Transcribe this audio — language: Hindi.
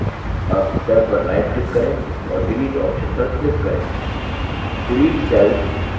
अब cell पर right click करें और delete option पर click करें